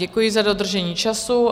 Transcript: Děkuji za dodržení času.